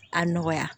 A nɔgɔya